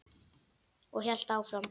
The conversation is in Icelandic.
Og hélt áfram